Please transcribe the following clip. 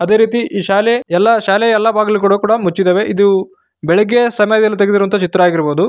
ಅದೇ ರೀತಿ ಈ ಶಾಲೆ ಎಲ್ಲಾ ಶಾಲೆಯ ಎಲ್ಲಾ ಬಾಗಿಲುಗಳು ಕೂಡ ಮುಚ್ಚಿದವೆ. ಇದು ಬೆಳಿಗ್ಗೆ ಸಮಯದಲ್ಲಿ ತೆಗೆದಿರುವಂತ ಚಿತ್ರ ಆಗಿರ್ ಬೋದು.